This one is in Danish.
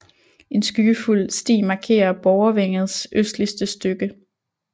En skyggefuld sti markerer Borgervængets østligste stykke